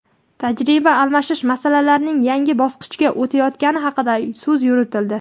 tajriba almashish masalalarining yangi bosqichga o‘tayotgani haqida so‘z yuritildi.